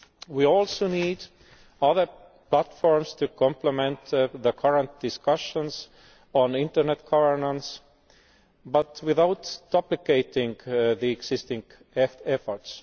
We also need other platforms to complement the current discussions on internet governance but without duplicating the existing efforts.